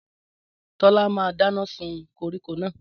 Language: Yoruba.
Tọ́lá máa dáná sun koríko náà.